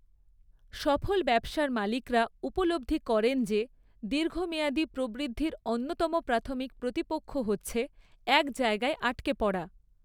সফল ব্যবসার মালিকরা উপলব্ধি করেন যে, দীর্ঘমেয়াদী প্রবৃদ্ধির অন্যতম প্রাথমিক প্রতিপক্ষ হচ্ছে এক জায়গায় আটকা পড়া।